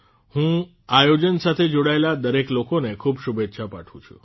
હું આ આયોજન સાથે જોડાયેલ દરેક લોકોને ખૂબ શુભેચ્છા પાઠવું છું